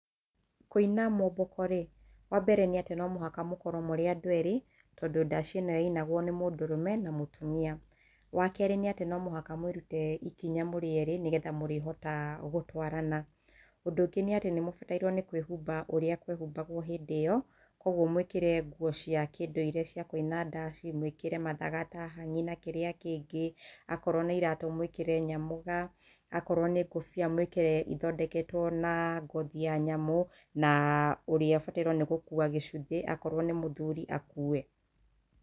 Kũina mwomboko rĩ, wambere nĩ atĩ no mũhaka mũkorwo mũrĩ andũ erĩ, tondũ ndaci ĩno yainagwo nĩmũndũrũme na mũtumia. Wakerĩ nĩatĩ no mũhaka mwĩrute ikinya mũrĩ erĩ nĩgetha mũrĩhota gũtwarana. Ũndũ ũngĩ nĩatĩ nĩmubatairuo nĩkwihumba ũria kwehumbaguo hĩndĩ ĩyo, koguo mwĩkĩre nguo cia kĩndũire cia kũina ndaci, mwĩkĩre mathaga ta hangĩ na kĩrĩa kĩngĩ okorwo nĩ iratũ mwĩkĩre nyamũga, akorwo nĩ ngũbia mwĩkĩre ithondeketwo na ngothi nyamũ na ũrĩa ũbataire gũkua gĩcuthĩ akorwo nĩ mũthuri akue.